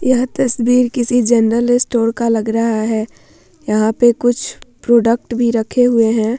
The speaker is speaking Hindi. यह तस्वीर किसी जनरल स्टोर का लग रहा है यहाँ पे कुछ प्रोडक्ट भी रखे हुए है ।